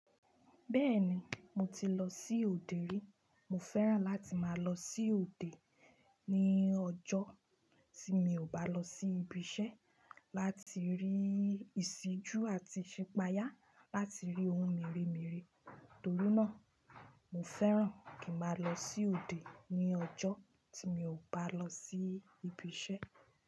Bẹ́ẹ̀ni, mo ti lọ sí òde rí. Mo fẹ́ràn láti máa lọ sí òde ní ọjọ́ tí mi ò bá lọ sí ibi iṣẹ́ láti rí ìṣíjú àti ìṣipáyà láti rí ohun mèremère. Tori náà, mo fẹ́ràn kí n máa lọ sí òde ní ọjọ́ tí mi ò bá lọ sí ibi iṣẹ́